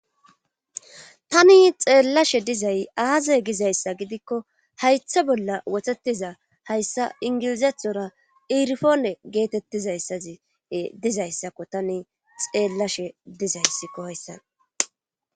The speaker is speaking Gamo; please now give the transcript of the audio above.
tani xeellashe dizay aaze gizayssa gidikko haytha bolla wothetiza hayssa ingilizethora irifoone geetettizayssazi dizayssakko tani xeellashe dizayssikko hayssan